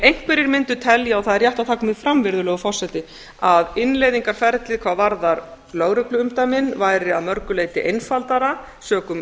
einhverjir mundu telja og það er rétt að það komi fram virðulegur forseti að innleiðingarferlið hvað varðar lögregluumdæmin væri að mörgu leyti einfaldara sökum